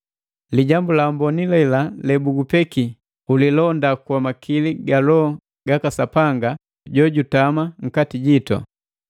Lijambu la amboni lela lebugupekiya ulilonda kwa makili ga Loho gaka Sapanga jojutama nkati jitu.